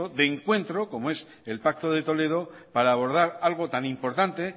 de encuentro como es el pacto de toledo para abordar algo tan importante